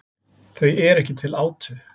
Þau eru ekki til átu.